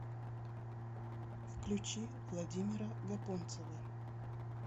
включи владимира гапонцева